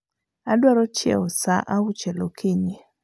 Adwaro chiew saa auchiel okinyi